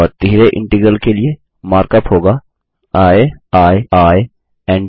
और तिहरे इंटीग्रल के लिए मार्क अप होगा आई आई आई एन ट